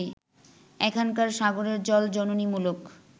এখানকার সাগরের জল জননীমূলক